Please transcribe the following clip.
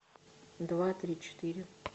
два три четыре